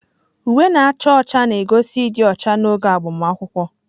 Uwe na-acha ọcha na-egosi ịdị ọcha n'oge agbamakwụkwọ.